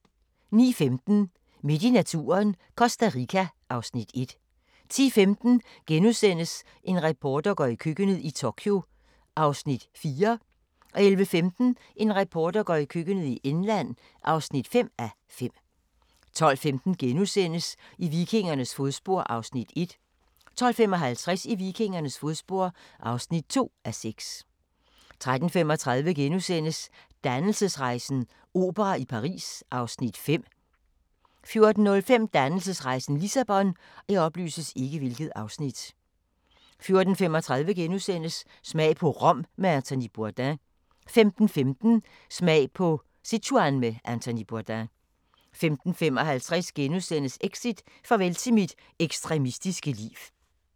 09:15: Midt i naturen – Costa Rica (Afs. 1) 10:15: En reporter går i køkkenet – i Tokyo (4:5)* 11:15: En reporter går i køkkenet – i England (5:5) 12:15: I vikingernes fodspor (1:6)* 12:55: I vikingernes fodspor (2:6) 13:35: Dannelsesrejsen - opera i Paris (Afs. 5)* 14:05: Dannelsesrejsen - Lissabon 14:35: Smag på Rom med Anthony Bourdain * 15:15: Smag på Sichuan med Anthony Bourdain 15:55: Exit: Farvel til mit ekstremistiske liv *